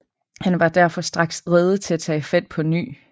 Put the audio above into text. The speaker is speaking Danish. Han var derfor straks rede til at tage fat på ny